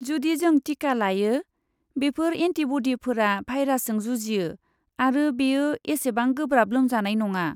जुदि जों टिका लायो, बेफोर एन्टिब'डिफोरा भाइरासजों जुजियो आरो बेयो एसेबां गोब्राब लोमजानाय नङा।